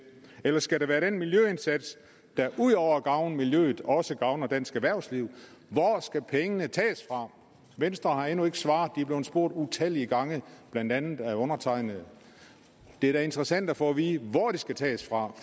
eller skal det være den miljøindsats der ud over at gavne miljøet også gavner dansk erhvervsliv hvor skal pengene tages fra venstre har endnu ikke svaret de er blevet spurgt utallige gange blandt andet af undertegnede det er da interessant at få at vide hvor de skal tages fra